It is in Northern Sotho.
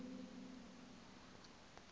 gore o be o le